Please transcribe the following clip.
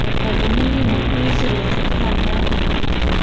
aga gu ma nI mohnyu sawaI phuth dan la boh jaw taiga.